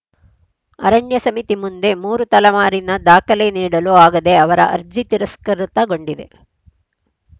ಅರಣ್ಯ ಸಮಿತಿ ಮುಂದೆ ಮೂರು ತಲೆಮಾರಿನ ದಾಖಲೆ ನೀಡಲು ಆಗದೇ ಅವರ ಅರ್ಜಿ ತಿರಸ್ಕೃತಗೊಂಡಿವೆ